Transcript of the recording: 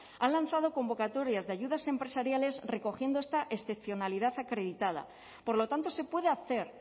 han lanzado convocatorias de ayudas empresariales recogiendo esta excepcionalidad acreditada por lo tanto se puede hacer